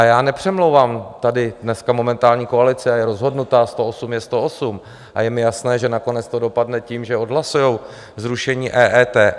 A já nepřemlouvám tady dneska momentální koalici, a je rozhodnutá, 108 je 108, a je mi jasné, že nakonec to dopadne tím, že odhlasují zrušení EET.